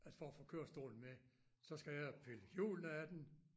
At for at få kørestolen med så skal jeg pille hjulene af den